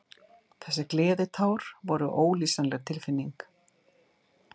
Þessi gleðitár voru ólýsanleg tilfinning.